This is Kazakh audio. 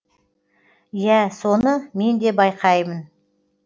иә соны мен де байқаймын